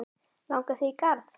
Langar þig í garð?